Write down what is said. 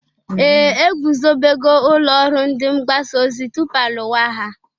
Ee! Egwuzobego ụlọ ọrụ ndị mgbasa ozi tupu alụwa agha.